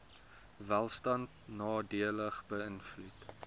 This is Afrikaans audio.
welstand nadelig beïnvloed